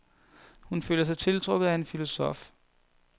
Hun føler sig tiltrukket af en filosof.